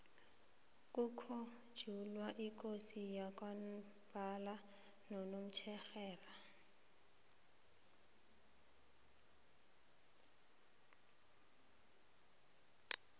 kukhunjulwa ikosi yamambala konomtjherhelo